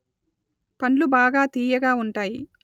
పండ్లు బాగా తీయగా ఉంటాయి